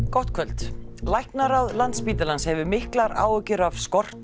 gott kvöld læknaráð Landspítalans hefur miklar áhyggjur af skorti